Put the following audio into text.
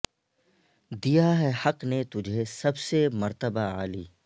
دیا ہے حق نے تجھے سب سے مرتبہ عالی